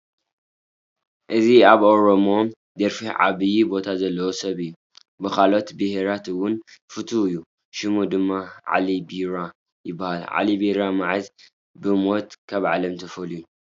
እዚ ኣብ ናይ ኦሮሞ ደርፊ ዓብዪ ቦታ ዘለዎ ሰብ እዩ፡፡ ብካልኦት ብሄራት እውን ፍቱው እዩ፡፡ ሽሙ ድማ ዓሊ ቢራ ይበሃል፡፡ ዓሊ ቢራ መዓዝ ብሞት ካብ ዓለም ተፈልዩ?